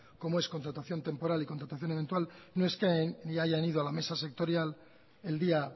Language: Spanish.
como es contratación temporal y contratación eventual no es que ni hayan ido a la mesa sectorial el día